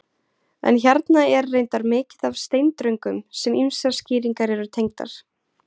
En hérna er reyndar mikið af steindröngum sem ýmsar skýringar eru tengdar.